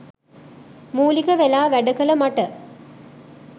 මූලික වෙලා වැඩ කළ මට